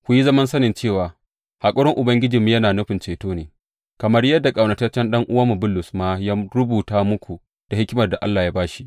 Ku yi zaman sanin cewa haƙurin Ubangijinmu yana nufin ceto ne, kamar yadda ƙaunataccen ɗan’uwanmu Bulus ma ya rubuta muku da hikimar da Allah ya ba shi.